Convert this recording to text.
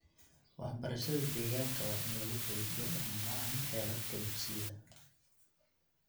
Waxbarashada deegaanka waa in lagu xoojiyo dhammaan heerarka dugsiyada.